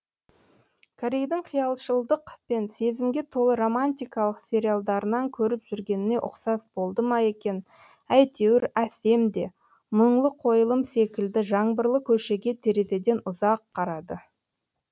корейдің қиялшылдық пен сезімге толы романтикалық сериалдарынан көріп жүргеніне ұқсас болды ма екен әйтеуір әсем де мұңлы қойылым секілді жаңбырлы көшеге терезеден ұзақ қарады